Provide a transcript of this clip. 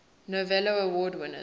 novello award winners